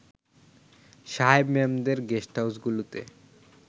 সাহেব-মেমদের গেস্টহাউসগুলোতে